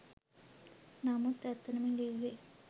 නමුත් ඇත්තටම ලිව්වේ